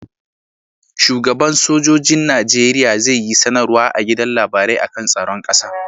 Shugan sojojin nageria zai yi sanar wa a gidan labarai akan tsaron ƙasa